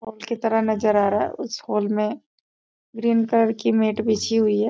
Hall के तरह नजर आ रहा है उस हॉल में ग्रीन कलर की मैट बिछी हुई है।